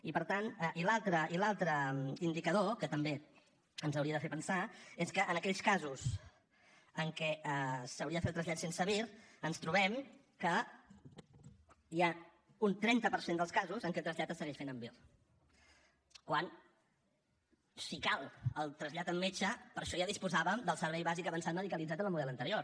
i l’altre indicador que també ens hauria de fer pensar és que en aquells casos en què s’hauria de fer el trasllat sense vir ens trobem que hi ha un trenta per cent dels casos en què el trasllat es segueix fent amb vir quan si cal el trasllat amb metge per a això ja disposàvem del servei bàsic avançat medicalitzat en el model anterior